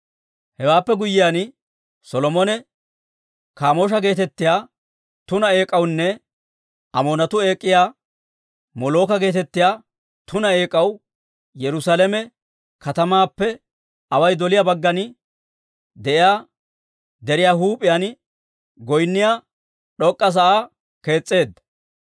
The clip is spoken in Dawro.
Hewaappe guyyiyaan Solomone Kaamoosha geetettiyaa tuna eek'awunne Amoonatuu eek'iyaa, Molooka geetettiyaa tuna eek'aw Yerusaalame katamaappe away doliyaa baggan de'iyaa deriyaa huup'iyaan goynniyaa d'ok'k'a sa'aa kees's'eedda.